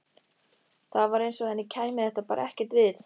Það var eins og henni kæmi þetta bara ekkert við.